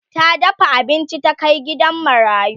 ta dafa abinci ta Kai gidan marayu